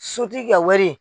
Sotigi ka wari.